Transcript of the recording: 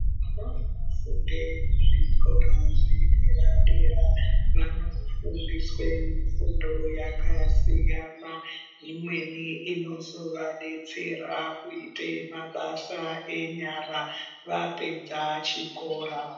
Vanofunde kuzvikora zvedera dera vanofundiswe kufundo yakasiyana imweni inozovadetsera kuita mabasa enyara vapedza chikora.